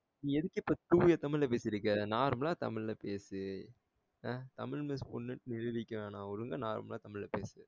எதுக்கு இப்ப தூய தமிழ பேசிட்ருக்க normal ஆ தமிழ் ல பேசு ஆஹ் தமிழ் miss பொண்ணுன்னு நிருபிக்க வேண்டாம் ஒழுங்கா normal ஆ தமிழ் ல பேசு